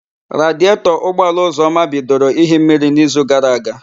Radietọ ụgbọala Ụzọma bidoro íhi mmiri n'ízù gara aga.